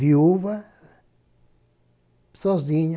Viúva, sozinha.